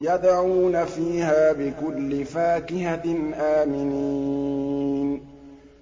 يَدْعُونَ فِيهَا بِكُلِّ فَاكِهَةٍ آمِنِينَ